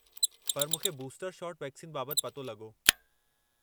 पर मूंखे booster shot vaccine बाबत पतो लॻो।